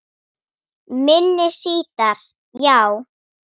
Minni sítar, já